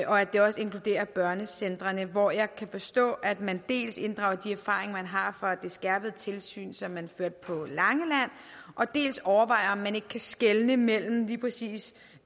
og at det også inkluderer børnecentrene hvor jeg kan forstå at man dels inddrager de erfaringer man har fra det skærpede tilsyn som man førte på langeland dels overvejer om man ikke kan skelne imellem lige præcis